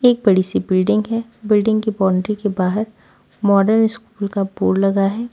एक बड़ी सी बिल्डिंग है बिल्डिंग की बाउंड्री के बाहर मॉडर्न स्कूल का बोर्ड लगा है।